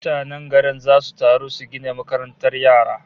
Mutanen garin zasu taru su gina makarantar yara